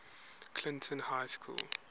clinton high school